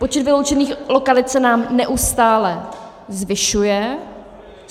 Počet vyloučených lokalit se nám neustále zvyšuje.